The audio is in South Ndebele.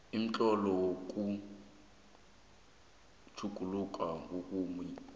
umtlolo wokuthoma utjhugululwe